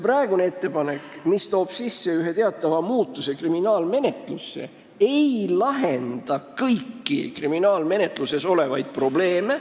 Praegune ettepanek, mis toob kaasa ühe muudatuse kriminaalmenetluses, ei lahenda kõiki kriminaalmenetlusega seotud probleeme.